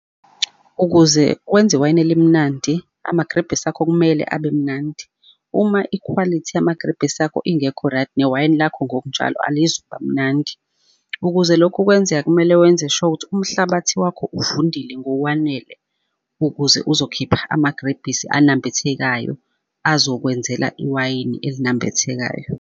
Ukuze wenza iwayini elimnandi, amagrebhisi akho kumele abe mnandi. Uma ikhwalithi yamagrebhisi akho ingekho right, newayini lakho ngokunjalo alizukuba mnandi. Ukuze lokhu kwenzeke, kumele wenze sure ukuthi umhlabathi wakho uvundile ngokwanele, ukuze uzokhipha amagrebhisi anambithekayo, azokwenzela iwayini elinambithekayo.